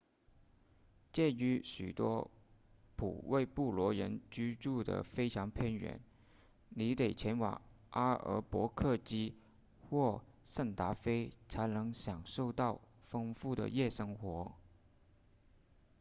鉴于许多普韦布洛人居住得非常偏远你得前往阿尔伯克基或圣达菲才能享受到丰富的夜生活